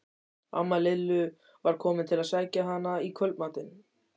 Amma Lillu var komin til að sækja hana í kvöldmat.